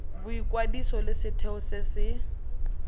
boikwadiso le setheo se se